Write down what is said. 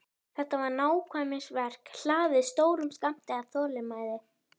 Þetta var nákvæmnisverk hlaðið stórum skammti af þolinmæði.